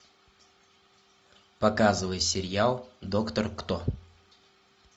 показывай сериал доктор кто